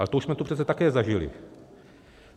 Ale to už jsme tu přece také zažili.